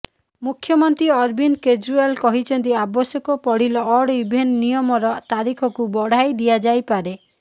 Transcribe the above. ମୁଖ୍ୟମନ୍ତ୍ରୀ ଅରବିନ୍ଦ କେଜରୀଓ୍ୱାଲ କହିଛନ୍ତି ଆବଶ୍ୟକ ପଡିଲେ ଅଡ଼ ଇଭେନ ନିୟମର ତାରିଖକୁ ବଢାଇ ଦିଆଯାଇପାରେ